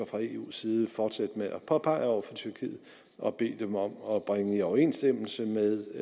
og eus side fortsætte med at påpege over for tyrkiet og bede dem om at bringe i overenstemmelse med